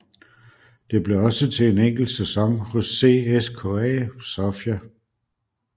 Det blev også til en enkelt sæson hos CSKA Sofia